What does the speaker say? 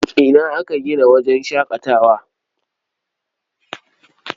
Ina aka gina wajen shaƙatawar?